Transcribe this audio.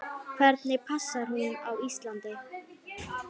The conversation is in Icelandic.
Hvernig passar hún á Íslandi?